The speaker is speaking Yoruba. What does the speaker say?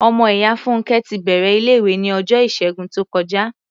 Ọmọ ìyá Fúnnkẹ́ ti bẹ̀rẹ̀ ilé-ìwé ní ọjọ́ Ìṣẹ́gun tó kọjá.